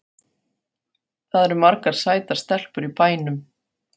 Það eru margar sætar stelpur í bænum.